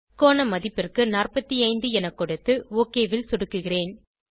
கோண மதிப்பிற்கு 45 என கொடுத்து ஒக் ல் சொடுக்குகிறேன்